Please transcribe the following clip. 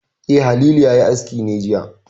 E, Halilu ne ya yi aski ne jiya.